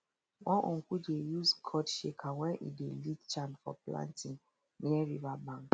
one uncle dey use gourd shaker when e dey lead chant for planting near riverbank